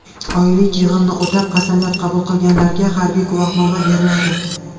Oylik yig‘inni o‘tab, qasamyod qabul qilganlarga harbiy guvohnoma beriladi.